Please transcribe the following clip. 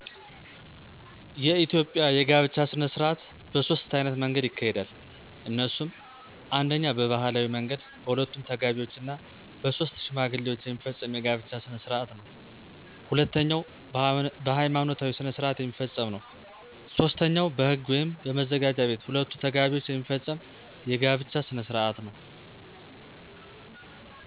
የኢትዮጵያ የጋብቻ ሥነ ሥርዓት በሦስት ዓይነት መንገድ ይካሄዳል። እነሱም፦ አንደኛ በባህላዊ መንገድ በሁለቱ ተጋቢዎች ና በሦስት ሽማግሌዎች የሚፈፀም የጋብቻ ሥነሥርዓት ነው። ሁለተኛው በሐይማኖታዊ ሥነሥርዓት የሚፈፀም ነው። ሦስተኛው በህግ ወይም በመዘጋጃ ቤት ሁለቱ ተጋቢዎች የሚፈፀም የጋብቻ ሥነሥርዓት ነው።